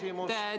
Aitäh!